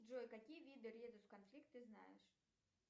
джой какие виды резус конфликт ты знаешь